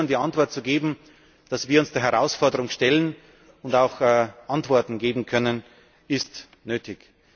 Aufgabe. Unseren Bürgern die Antwort zu geben, dass wir uns der Herausforderung stellen und auch Antworten geben können, ist